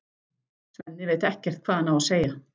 Svenni veit ekkert hvað hann á að segja.